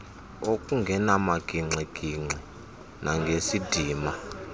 ngokungena magingxigingxi nangesidima